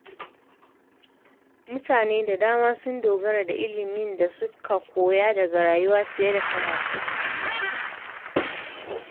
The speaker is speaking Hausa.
Mutane da dama sun dogara da ilimin da suka koya daga rayuwa fiye da karatu.